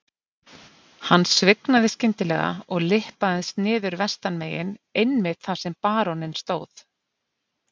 Hann svignaði skyndilega og lyppaðist niður vestanmegin einmitt þar sem baróninn stóð.